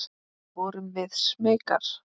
Vorum við smeykar?